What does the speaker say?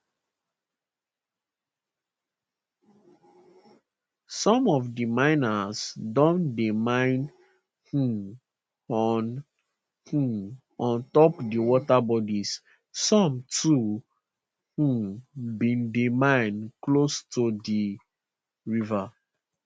some of di miners don dey mine um on um on top di water bodies some too um bin dey mine close to di rivers